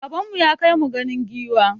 Baban mu ya kai mu ganin giwa.